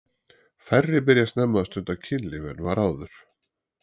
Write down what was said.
Færri byrja snemma að stunda kynlíf en var áður.